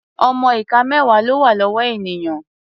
Ọmọ ìka mẹ́wà ló wà lọ́wọ́ ènìyàn.